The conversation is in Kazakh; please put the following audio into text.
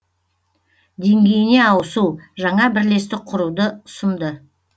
деңгейіне ауысу жаңа бірлестік құруды ұсынды